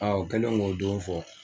A u kɛlen k'o don fɔ.